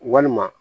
Walima